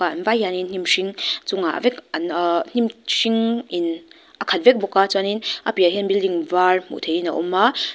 an vai hian hnim hring chungah vek an ahh hnim hring in a khat vek bawk a chuanin a piahah hian building var hmuh theihin a awm a.